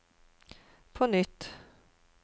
på nytt